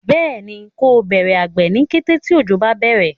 béèni ko Bẹrẹ àgbè ní kété tí ojo bá bẹrẹ.